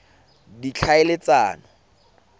ditlhaeletsano